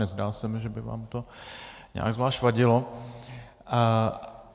Nezdá se mi, že by vám to nějak zvlášť vadilo.